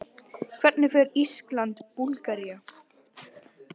Hvernig fer Ísland- Búlgaría?